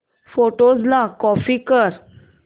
photos ला copy कर